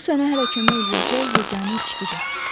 Bu sənə hələ kömək eləyəcək yeganə içkidir.